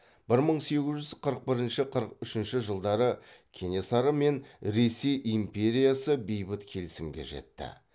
бір мың сегіз жүз қырық бірінші қырық үшінші жылдары кенесары мен ресей империясы бейбіт келісімге жетті